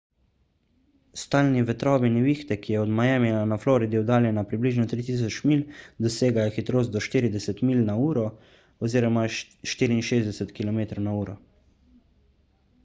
stalni vetrovi nevihte ki je od miamija na floridi oddaljena približno 3000 milj dosegajo hitrost do 40 mph 64 km/h